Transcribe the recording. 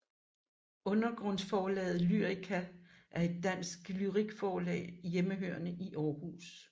Undergrundsforlaget Lyrica er et dansk lyrikforlag hjemmehørende i Århus